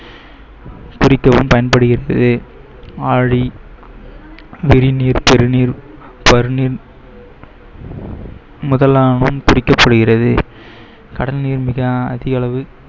குறிக்கவும் பயன்படுகிறது. ஆழி குறிக்கப்படுகிறது. கடலில் மிக அதிகளவு